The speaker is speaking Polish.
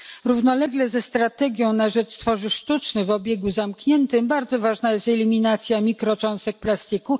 Równolegle ze strategią na rzecz tworzyw sztucznych w obiegu zamkniętym bardzo ważna jest eliminacja mikrocząstek plastiku.